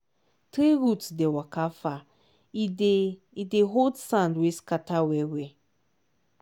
tree root dey waka far e dey e dey hold sand wey scatter well well.